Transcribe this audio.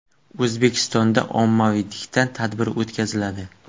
O‘zbekistonda ommaviy diktant tadbiri o‘tkaziladi.